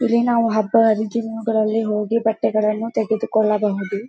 ಇಲ್ಲಿ ನಾವು ಹಬ್ಬ ಹರಿದಿನಗಳಲ್ಲಿ ಹೋಗಿ ಬಟ್ಟೆಗಳನ್ನು ತೆಗೆದುಕೊಳ್ಳಬಹುದು.